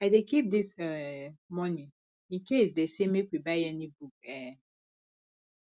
i dey keep dis um moni incase dey say make we buy any book um